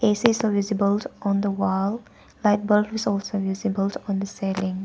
A_C is visible on the wall. Night bulbs also visible on the ceiling.